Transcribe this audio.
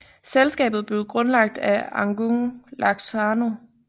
Selskabet blev grundlagt af Agung Laksono